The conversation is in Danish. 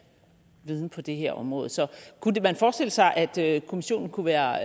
viden på det her område så kunne man forestille sig at kommissionen kunne være